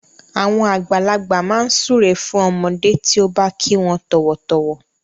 Àwọn àgbàlagbà máa ń súre fún ọmọdé tí ó bá kí wọn tọ̀wọ̀tọ̀wọ̀.